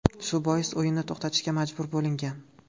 Shu bois o‘yinni to‘xtatishga majbur bo‘lingan.